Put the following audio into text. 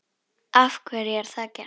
Af hverju er það gert?